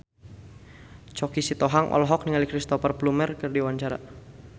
Choky Sitohang olohok ningali Cristhoper Plumer keur diwawancara